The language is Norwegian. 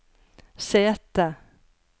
sete